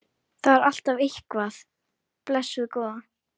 Það er alltaf eitthvað, blessuð góða.